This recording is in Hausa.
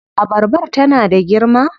Abarbar tana da girma?